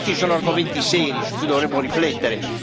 Questi sono argomenti seri, su cui dovremmo riflettere.